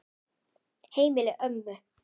Heimili ömmu.